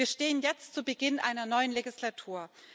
Wir stehen jetzt zu Beginn einer neuen Legislatur.